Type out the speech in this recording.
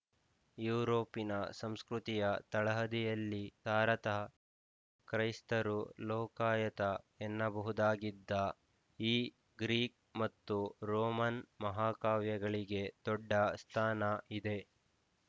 ಯೂರೋಪಿನ ಸಂಸ್ಕೃತಿ ಯ ತಳಹದಿಯಲ್ಲಿ ಸಾರತಃ ಕ್ರೈಸ್ತರು ಲೋಕಾಯತ ಎನ್ನಬಹುದಾಗಿದ್ದ ಈ ಗ್ರೀಕ್ ಮತ್ತು ರೋಮನ್ ಮಹಾಕಾವ್ಯಗಳಿಗೆ ದೊಡ್ಡ ಸ್ಥಾನ ಇದೆ